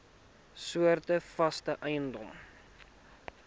soorte vaste eiendom